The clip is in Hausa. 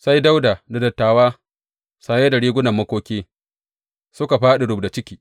Sai Dawuda da dattawa, saye da rigunan makoki suka fāɗi rubda jiki.